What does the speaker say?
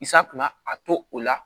a to o la